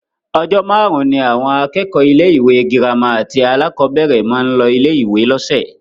Ọjọ́ márùn-ún ni àwọn akẹ́kọ̀ọ́ ilé-ìwé gírámà àti alákọ̀ọ́bẹ̀rẹ̀ máa ń lọ ilé-ìwé lọ́sẹ̀